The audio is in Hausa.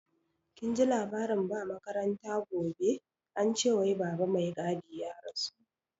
Kinji labarin ba makaranta gobe, ance wai baba mai gadi ya rasu?